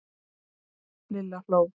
Lilla hló.